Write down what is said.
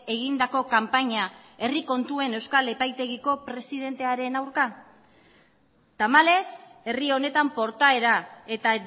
egindako kanpaina herri kontuen euskal epaitegiko presidentearen aurka tamalez herri honetan portaera eta